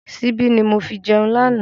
Síbi ni mo fi jẹun lànà